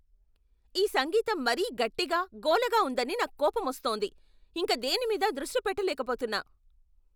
ఈ సంగీతం మరీ గట్టిగా, గోలగా ఉందని నాకు కోపమొస్తోంది. ఇంక దేని మీదా దృష్టి పెట్టలేకపోతున్నా.